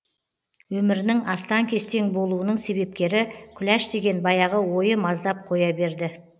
өмірінің астаң кестең болуының себепкері күләш деген баяғы ойы маздап қоя берді